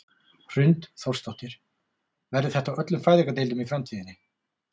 Hrund Þórsdóttir: Verður þetta á öllum fæðingardeildum í framtíðinni?